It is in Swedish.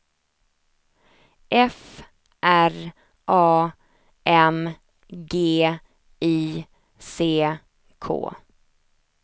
F R A M G I C K